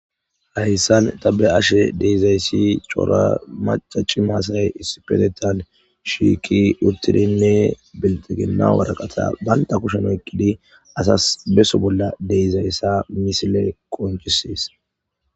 hayssan tabe ashe deizayssi coora maca ci maasay issipetetan shiiki uttidinne beltegenna waraqata baynta kusheno ekkidi asas beso bolla deizayssa misile qoncisies